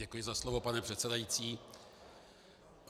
Děkuji za slovo, pane předsedající.